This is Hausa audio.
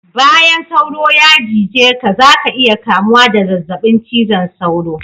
Bayan sauro ya cije ka zaka iya kamuwa da zazzabin cizon sauro